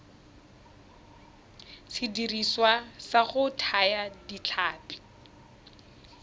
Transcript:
sediriswa sa go thaya ditlhapi